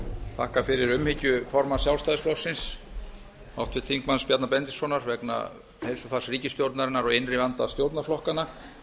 þakka fyrir umhyggju formanns sjálfstæðisflokksins háttvirts þingmanns bjarna benediktssonar vegna heilsufars ríkisstjórnarinnar og innri vanda stjórnarflokkanna